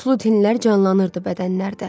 qutlu tinlər canlanırdı bədənlərdə.